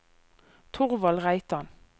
Thorvald Reitan